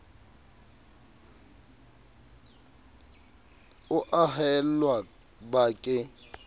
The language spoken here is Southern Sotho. o a haella ba ke